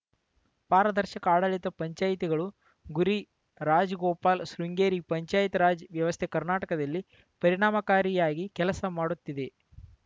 ಪಾರದರ್ಶಕ ಆಡಳಿತ ಪಂಚಾಯಿತಿಗಳು ಗುರಿ ರಾಜ್‌ಗೋಪಾಲ್‌ ಶೃಂಗೇರಿ ಪಂಚಾಯತ್‌ ರಾಜ್‌ ವ್ಯವಸ್ಥೆ ಕರ್ನಾಟಕದಲ್ಲಿ ಪೆ ರಿಣಾಮಕಾರಿಯಾಗಿ ಕೆಲಸ ಮಾಡುತ್ತಿದೆ